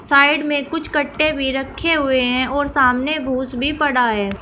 Side में कुछ गट्टे भी रखे हुए हैं और सामने भूस भी पड़ा है।